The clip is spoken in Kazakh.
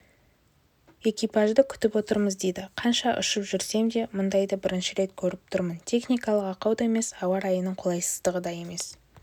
экипажды күтіп отырмыз дейді қанша ұшып жүрсем де мұндайды бірінші рет көріп тұрмын техикалық ақау да емес ауа-райының қолайсыздығы да емес